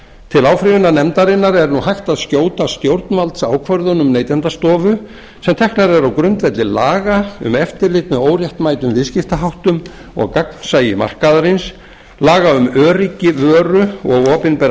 til áfrýjunarnefndarinnar er á hægt að skjóta stjórnvaldsákvörðunum neytendastofu sem teknar eru á grundvelli laga um eftirlit með óréttmætum viðskiptaháttum og gagnsæi markaðarins laga um öryggi vöru og opinberrar